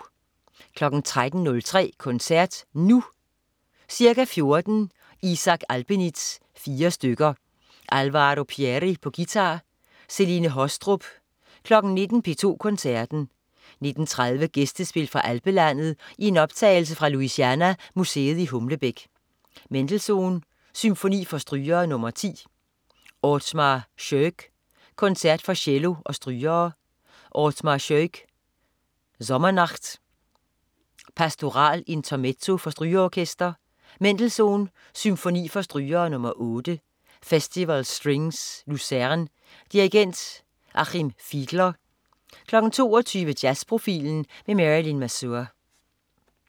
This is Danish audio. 13.03 Koncert Nu. Ca. 14.00 Isaac Albeniz: Fire stykker. Alvaro Pierri, guitar. Celine Haastrup 19.00 P2 Koncerten. 19.30 Gæstespil fra alpelandet i en optagelse fra Louisiana Museet i Humlebæk. Mendelssohn: Symfoni for strygere nr. 10. Othmar Schoeck: Concert for cello og strygere. Othmar Schoeck: Sommernacht. Pastoral Intermezzo for strygeorkester. Mendelssohn: Symfoni for strygere nr. 8. Festival Strings Lucerne. Dirigent: Achim Fiedler 22.00 Jazzprofilen med Marylin Mazur